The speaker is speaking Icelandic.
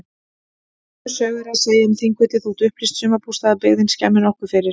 Sömu sögu er að segja um Þingvelli þótt upplýst sumarbústaðabyggðin skemmi nokkuð fyrir.